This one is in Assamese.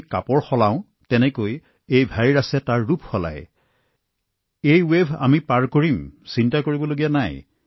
আমি কাপোৰ সলনি কৰাৰ দৰে ভাইৰাছে ইয়াৰ ৰং সলনি কৰি আছে আৰু সেয়েহে ভয় কৰিব লগীয়া একো নাই আৰু আমি এই ঢৌবোৰো অতিক্ৰম কৰিম